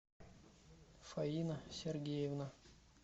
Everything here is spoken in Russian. фаина сергеевна